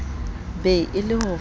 be e le ho fahla